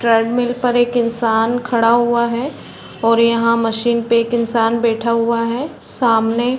trade मिल पर एक इंसान खड़ा हुआ है और यहाँ मशीन पे बैठा हुआ है सामने --